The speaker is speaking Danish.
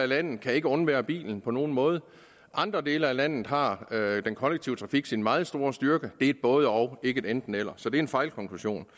landet kan ikke undvære bilen på nogen måde i andre dele af landet har den kollektive trafik sin meget store styrke det et både og ikke et enten eller så det er en fejlkonklusion